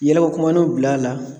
Yɛlɛkokumanunw bil'a la